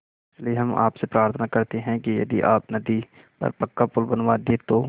इसलिए हम आपसे प्रार्थना करते हैं कि यदि आप नदी पर पक्का पुल बनवा दे तो